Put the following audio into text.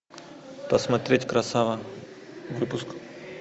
посмотреть красава выпуск